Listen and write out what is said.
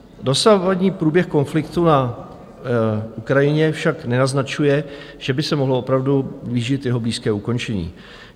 Dosavadní průběh konfliktu na Ukrajině však nenaznačuje, že by se mohlo opravdu blížit jeho blízké ukončení.